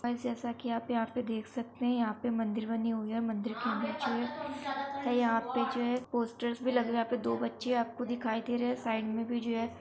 Guys जैसा की आप यहाँ पे देख सकते हैं यहाँ पे मंदिर बनी हुई है मंदिर के अंदर यहाँ जो हैं यहाँ पे जो है पोस्टर भी लगे हुए हैं दो बच्चे यहाँ पे दिखाई दे रहे हैं साइड में भी जो हैं।